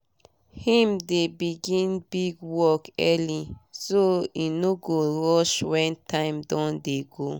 him dey begin big work early so e no go rush wen time don dey go